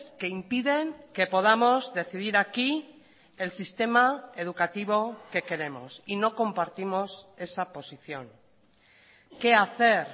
que impiden que podamos decidir aquí el sistema educativo que queremos y no compartimos esa posición qué hacer